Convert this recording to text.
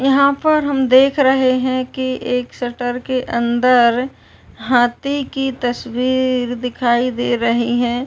यहाँ पर हम देख रहे हैं कि एक शटर के अंदर हाथी की तस्वीर दिखाई दे रही है।